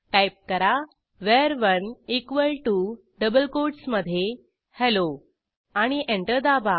type करा वर1 equal to double कोटसमधे हेल्लो आणि एंटर दाबा